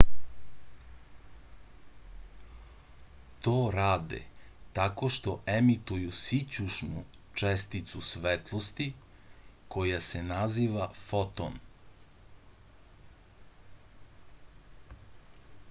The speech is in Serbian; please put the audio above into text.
to rade tako što emituju sićušnu česticu svetlosti koja se naziva foton